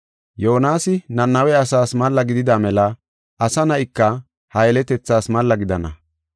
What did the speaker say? Yoonasi Nanawe asaas malla gidida mela Asa Na7ika ha yeletethaas malla gidana.